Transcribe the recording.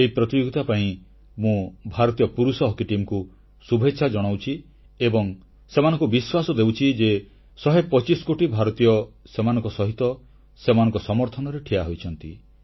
ଏହି ପ୍ରତିଯୋଗିତା ପାଇଁ ମୁଁ ଭାରତୀୟ ପୁରୁଷ ହକି ଟିମକୁ ଶୁଭେଚ୍ଛା ଜଣାଉଛି ଏବଂ ସେମାନଙ୍କୁ ବିଶ୍ୱାସ ଦେଉଛି ଯେ 125 କୋଟି ଭାରତୀୟ ସେମାନଙ୍କ ସହିତ ସେମାନଙ୍କ ସମର୍ଥନରେ ଠିଆ ହୋଇଛନ୍ତି